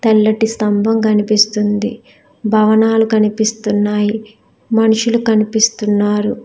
తెల్లాటి స్తంభం కనిపిస్తుంది భవనాలు కనిపిస్తూన్నాయి మనుషులు కనిపిస్తూన్నారు.